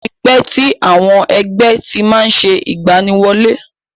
Ó ti pẹ́ tí àwọn ẹgbẹ́ ti má ń ṣe ìgbaniwọlé.